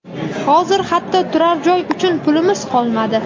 Hozir hatto turar joy uchun pulimiz qolmadi.